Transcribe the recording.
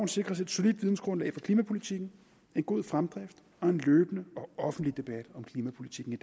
sikres et solidt vidensgrundlag for klimapolitikken en god fremdrift og en løbende og offentlig debat om klimapolitikken i